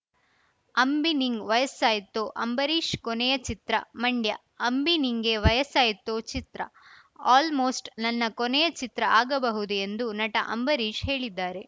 ಅಂಬಿ ನಿಂಗ್‌ ವಯಸ್ಸಾಯ್ತೋ ಅಂಬರೀಶ್‌ ಕೊನೆಯ ಚಿತ್ರ ಮಂಡ್ಯ ಅಂಬಿ ನಿಂಗೆ ವಯಸ್ಸಾಯ್ತೋ ಚಿತ್ರ ಆಲ್‌ಮೋಸ್ಟ್‌ ನನ್ನ ಕೊನೆಯ ಚಿತ್ರ ಆಗಬಹುದು ಎಂದು ನಟ ಅಂಬರೀಶ್‌ ಹೇಳಿದ್ದಾರೆ